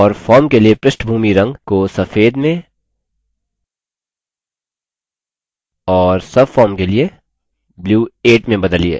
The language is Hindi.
और form के लिए पृष्ठभूमि रंग background color को सफेद में और subform के लिए blue 8 में बदलिए